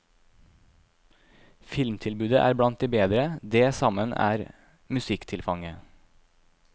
Filmtilbudet er blant de bedre, det sammen er musikktilfanget.